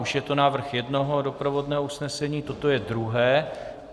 Už je to návrh jednoho doprovodného usnesení, toto je druhé.